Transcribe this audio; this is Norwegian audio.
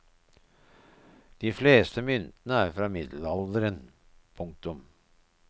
De fleste myntene er fra middelalderen. punktum